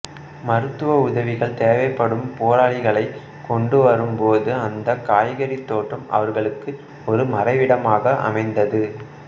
மருத்துவ உதவிகள் தேவைப்படும் போராளிகளைக் கொண்டு வரும் போது அந்தக் காய்கறித் தோட்டம் அவர்களுக்கு ஒரு மறைவிடமாக அமைந்தது